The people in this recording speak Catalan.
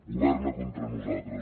governa contra nosaltres